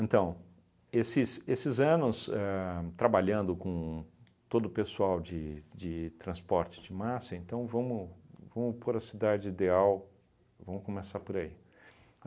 Então, esses esses anos ahn trabalhando com todo o pessoal de de transporte de massa, então vamos vamos por a cidade ideal, vamos começar por aí.